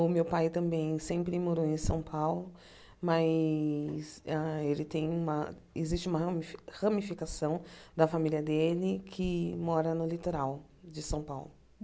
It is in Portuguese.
O meu pai também sempre morou em São Paulo, mas hã ele tem uma... existe uma ramifi ramificação da família dele que mora no litoral de São Paulo.